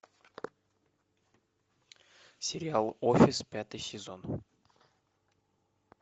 сериал офис пятый сезон